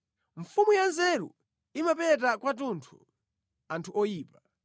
Mfumu ya nzeru imapeta kwathunthu anthu oyipa.